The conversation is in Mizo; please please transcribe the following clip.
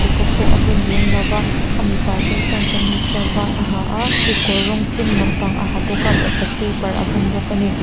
khawk pawh a bun lem lo va a mipa zawk chuan kamis var a ha a kekawr rawng thim lampang a ha bawk a bata sleeper a bun bawk a ni.